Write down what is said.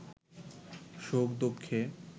সুখ-দুঃখে